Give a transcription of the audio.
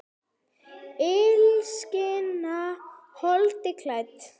Illskan holdi klædd?